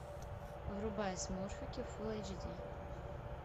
врубай смурфики фулл эйч ди